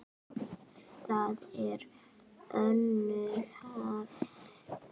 Þar er önnur höfn.